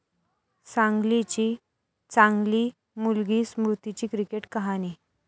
सांगलीची 'चांगली' मुलगी स्मृतीची क्रिकेट कहाणी